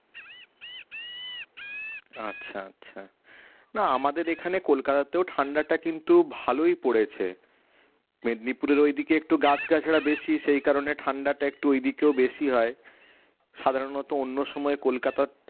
আচ্ছা আচ্ছা না আমাদের এখানে কলকাতাতেও ঠান্ডাটা কিন্তু ভালোই পড়েছে মেদিনীপুরের ঐদিকে একটু গাছ গাছড়া বেশি সেই কারণে ঠান্ডাটা একটু ওই দিকেও বেশি হয় সাধারণত অন্য সময় কলকাতা